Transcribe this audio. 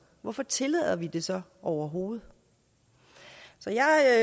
hvorfor tillader vi det så overhovedet så jeg